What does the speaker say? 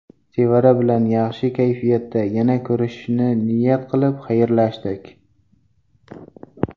Sevara bilan yaxshi kayfiyatda, yana ko‘rishishni niyat qilib xayrlashdik.